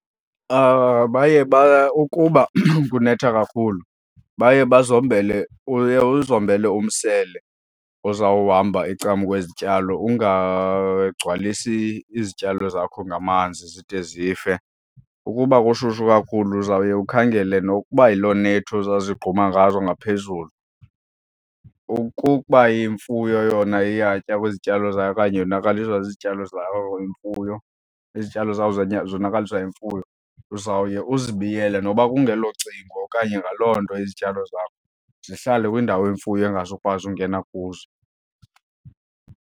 Baye ukuba kunetha kakhulu baye bazombele, uye uzombele umsele ozawuhamba ecamkwezityalo ungagcwalisi izityalo zakho ngamanzi zide zife. Ukuba kushushu kakhulu uzawuye ukhangele nokuba yiloo nethi oza zigquma ngazo ngaphezulu. Ukukuba imfuyo yona iyatya kwizityalo zayo okanye yonakaliswa zizityalo zawo imfuyo, izityalo zakho zonakaliswa yimfuyo, uzawuye uzibiyele noba kungelo cingo okanye ngaloo nto izityalo zakho, zihlale kwindawo imfuyo engazukwazi ungena kuzo.